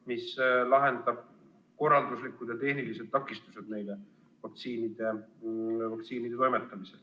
Tuleb lahendada korralduslikud ja tehnilised takistused vaktsiini nendeni toimetamisel.